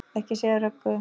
Ekki segja Röggu!